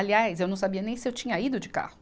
Aliás, eu não sabia nem se eu tinha ido de carro.